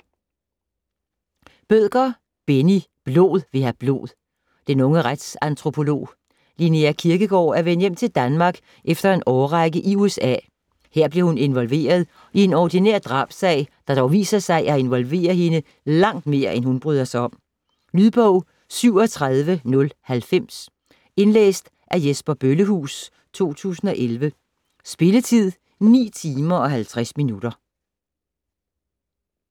Bødker, Benni: Blod vil have blod Den unge retsantropolog, Linnea Kirkegaard, er vendt hjem til Danmark efter en årrække i USA. Her bliver hun involveret i en ordinær drabssag, der dog viser sig at involvere hende langt mere end hun bryder sig om. Lydbog 37090 Indlæst af Jesper Bøllehuus, 2011. Spilletid: 9 timer, 50 minutter.